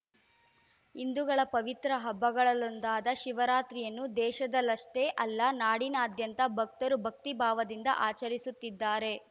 ಹಿಂದೂಗಳ ಪವಿತ್ರ ಹಬ್ಬಗಳಲ್ಲೊಂದಾದ ಶಿವರಾತ್ರಿಯನ್ನು ದೇಶದಲ್ಲಷ್ಟೇ ಅಲ್ಲ ನಾಡಿನಾದ್ಯಂತ ಭಕ್ತರು ಭಕ್ತಿಭಾವದಿಂದ ಆಚರಿಸುತ್ತಿದ್ದಾರೆ